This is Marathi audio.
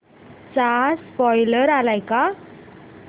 चा स्पोईलर आलाय का